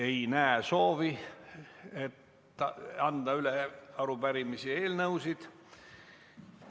Ei näe soovi üle anda arupärimisi ja eelnõusid.